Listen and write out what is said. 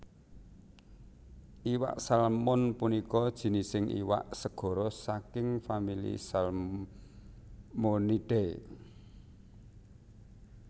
Iwak Salmon punika jinising iwak segara saking famili Salmonidae